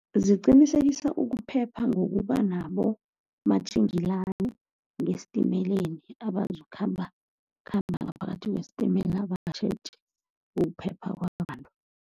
Ziqinisekisa ukuphepha ngokuba nabomatjingelani ngesitimeleni abazokukhambakhamba ngaphakathi kwesitimela, batjheje ukuphepha kwabantu.